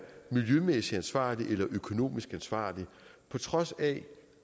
miljømæssigt ansvarlig eller økonomisk ansvarlig på trods af